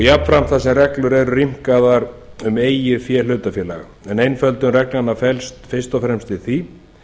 jafnframt eru reglur rýmkaðar um eigið fé hlutafélaga einföldun reglnanna felst fyrst og fremst í því